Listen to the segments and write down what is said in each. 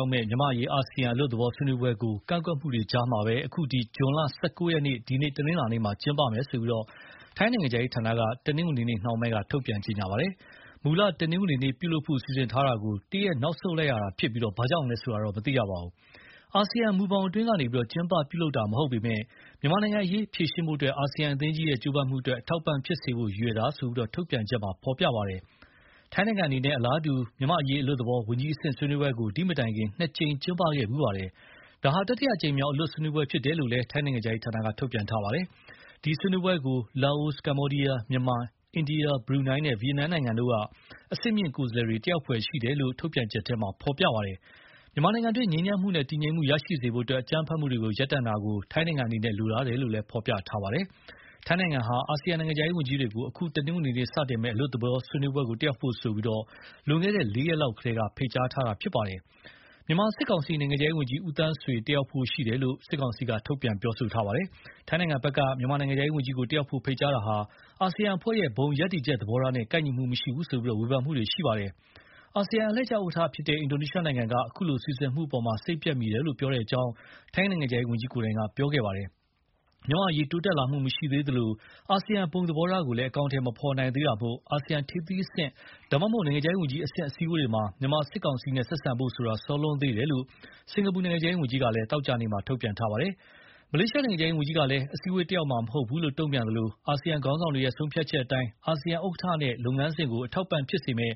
ောက်မယ့် မြန်မာ့အရေးအာဆီယံအလွတ်သဘော ဆွေးနွေးပွဲကိုကန့်ကွက်မှုတွေကြားကပဲ ဇွန် ၁၉ရက် အခု တနင်းလာနေ့မှာ ကျင်းပမယ်လို့ ထိုင်းနိုင်ငံခြားရေးဌာနက တနင်္ဂနွေနေ့နှောင်းပိုင်းက ထုတ်ပြန်ကြေညာပါတယ်။ မူလတနင်္ဂနွေနေ့ ပြုလုပ်ဖို့ စီစဉ်ထားတာကို တရက်နောက်ဆုတ်လိုက်ရတာဖြစ်ပြီး၊ ဘာကြောင့်လဲဆိုတာ တော့မသိရပါဘူး။ အာဆီယံမူဘောင်အတွင်းကနေ ကျင်းပပြုလုပ်တာမဟုတ်ပေမယ့် မြန်မာ့နိုင်ငံရေး ဖြေရှင်းဖို့ အာဆီယံအသင်းကြီးရဲ့ ကြိုးပမ်းမှုအတွက် အထောက်အပံ့ဖြစ်စေဖို့ ရည်ရွယ်တာလို့ ထုတ်ပြန်ချက်မှာဖော်ပြပါတယ်။ ထိုင်းနိုင်ငံအနေနဲ့ အလားတူမြန်မာ့အရေးအလွတ်သဘော ဝန်ကြီးအဆင့်ဆွေးနွေးပွဲကို ဒီမတိုင်ကလည်း နှစ်ကြိမ်ကျင်းပခဲ့ဖူးပါတယ်။ ဒါဟာ တတိယအကြိမ်မြောက် အလွတ်ဆွေးနွေးပွဲဖြစ်တယ်လို့ ထိုင်းနိုင်ငံခြားရေးဌာနက ထုတ်ပြန်ပါတယ်။ ဒီဆွေးနွေးပွဲကို လာအို၊ ကမ္ဘောဒီယား၊ မြန်မာ၊ အိန္ဒိယ၊ဘရူနိုင်းနဲ့ ဗီယက်နမ်နိုင်ငံတို့က အဆင့်မြင့်ကိုယ်စားလှယ်တွေ တက်ရောက်ဖွယ်ရှိတယ်လို့လည်း ထုတ်ပြန်ချက်ထဲ ဖော်ပြပါတယ်။ မြန်မာနိုင်ငံတွင်း ငြိမ်းချမ်းမှုနဲ့ တည်ငြိမ်မှုရရှိစေဖို့ အကြမ်းဖက်မှုတွေရပ်တန့်တာကို ထိုင်းနိုင်ငံအနေနဲ့ လိုလားတယ်လို့ ဖော်ပြပါတယ်။ ထိုင်းနိုင်ငံဟာ အာဆီယံနိုင်ငံခြားရေးဝန်ကြီးတွေကို အခု တနင်္ဂနွေမှာစတင်မယ့် အလွတ်သဘော ဆွေးနွေးပွဲကို တက်ရောက်ဖို့ဆိုပြီး လွန်ခဲ့တဲ့လေးရက်လောက်ကတည်းက ဖိတ်ကြားခဲ့တာပါ။ မြန်မာစစ် ကောင်စီ နိုင်ငံခြားရေးဝန်ကြီး ဦးသန်းဆွေတက်ရောက်ဖို့ရှိတယ်လို့ ရိုက်တာသတင်းမှာရေးပါတယ်။ ထိုင်းနိုင်ငံဖက်က မြန်မာနိုင်ငံခြားရေးဝန်ကြီးကို တက်ရောက်ဖို့ ဖိတ်ကြားတာဟာ အာဆီယံအဖွဲ့ရဲ့ ဘုံရပ်တည်ချက်သဘောထားနဲ့ ကိုက်ညီမှုမရှိဘူးဆိုပြီး ဝေဖန်မှုတွေထွက်ခဲ့ပါတယ်။ အာဆီယံအလှည့်ကျ ဥက္ကဌ အင်ဒိုနီးရှားနိုင်ငံက အခုလိုစီစဉ်မှုကို စိတ်ပျက်မိတယ်လို့ ပြောတဲ့အကြောင်း ထိုင်းနိုင်ငံခြားရေးဝန်ကြီး ကိုယ်တိုင်က ပြောခဲ့ပါတယ်။ မြန်မာ့အရေးတိုးတက်လာမှုမရှိသေးသလို အာဆီယံဘုံသဘေထားကိုလည်း အကောင်အထည်မဖော်နိုင်သေးတာမို့ အာဆီယံထိပ်သီးအဆင့် ဒါမှမဟုတ် နိုင်ငံခြားရေးဝန်ကြီးအဆင့် အစည်းအဝေးတွေမှာ မြန်မာစစ်ကောင်စီနဲ့ဆက်ဆံဖို့ဆိုတာ စောလွန်းသေးတယ်လို့ စင်္ကာပူနိုင်ငံခြားရေးဝန်ကြီးက သောကြာနေ့က တုန့်ပြန်ထားပါတယ်။ မလေးရှားနိုင်ငံခြားရေးဝန်ကြီးကလည်း အစည်းအဝေးတက်ရောက်မှာမဟုတ်ဘူးလို့ တုန့်ပြန်သလို အာဆီယံခေါင်းဆာင်တွေရဲ့ဆုံးဖြတ်ချက်အတိုင်း အာဆီယံဥက္ကဌနဲ့ လုပ်ငန်းစဉ်ကို အထောက် အပံ့ဖြစ်စေမယ်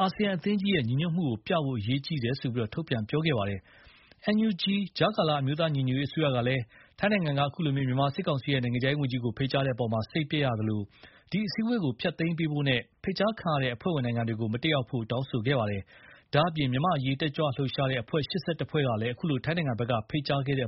အာဆီယံအသင်းကြီးရဲ့ညီညွတ်မှုပြဖို့ အရေးကြီးတယ်လို့ ထုတ်ပြန်ခဲ့ပါတယ်။ NUG ကြားကာလ အမျိုးသားညီညွတ်ရေးအစိုးရကလည်း ထိုင်းနိုင်ငံက အခုလို မြန်မာစစ်ကောင်စီရဲ့ နိုင်ငံခြားရေးဝန်ကြီးကို ဖိတ်ကြားခဲ့တဲ့အပေါ်မှာ စိတ်ပျက်ရသလို၊ ဒီအစည်းအဝေးကို ဖျက်သိမ်းပေးဖို့နဲ့ ဖိတ်ကြားခံရတဲ့ အဖွဲ့ဝင်နိုင်ငံတွေကို မတက်ရောက်ဖို့ တောင်းဆိုခဲ့ပါတယ်။ ဒါ့အပြင် မြန်မာ့အရေး တက်ကြွလှုပ်ရှားတဲ့အဖွဲ့ ၈၁ ဖွဲ့ကလည်း အခုလို ထိုင်းနိုင်ငံဘက်က ဖိတ်ကြားခဲ့တဲ့